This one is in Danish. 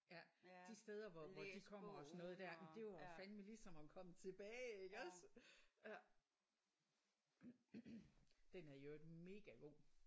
Ja. De steder hvor de kommer og sådan noget det er fandeme ligesom at komme tilbage iggås? Den er i øvrigt mega god